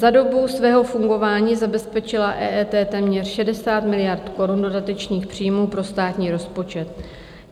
Za dobu svého fungování zabezpečila EET téměř 60 miliard korun dodatečných příjmů pro státní rozpočet.